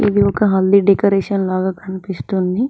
ఇది ఒక హల్దీ డెకరేషన్ లాగా కనిపిస్తుంది.